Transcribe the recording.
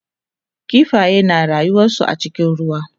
kifaye na rayuwansu a cikin ruwa